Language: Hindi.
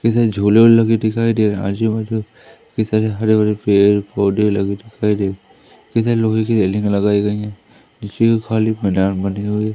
झूले बुले दिखाई दे रहा है आजूबाजू ये सारे हरे भरे पेड़ पौधे लगे दिखाई दे रहे हैं ये सारी लोहे की रेलिंग लगाई गई हैं खाली मैदान बने हुए--